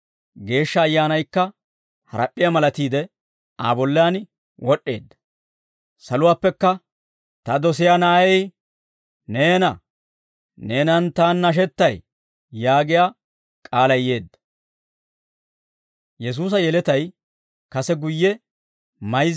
Geeshsha Ayyaanaykka harap'p'iyaa malatiide Aa bollaan wod'd'eedda. Saluwaappekka, «Ta dosiyaa na'ay neena; neenan Taani nashettay» yaagiyaa k'aalay yeedda.